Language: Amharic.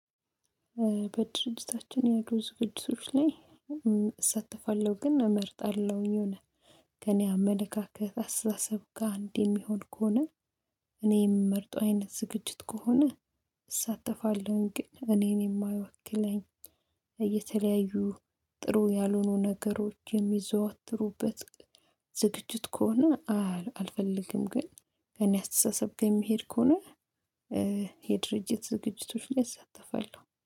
በድርጅታችን ያሉ ዝግጅቶች ላይ እ እሳተፋለሁ ግን እመርጣለሁኝ የሆነ አመለካከት አስተሳሰብ ጋር እንዲህ የሚሆን ከሆነ እኔ የምመርጠው አይነት ዝግጅት ከሆነ እሳተፋለሁኝ ግን እኔን የማያውክለኝ እየተለያዩ ጥሩ ያልሆኑ ነገሮች የሚዘዋትሩበት ዝግጅት ከሆነ አልፈልግም ግን እኔ አስተሳሰብ ከሚሄድ ከሆነ እ የድርጅት ዝግጅቶችን እሳተፋለሁ